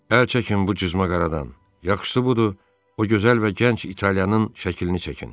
Əl çəkin bu cızmaqaradan, yaxşısı budur, o gözəl və gənc İtalyanın şəklini çəkin.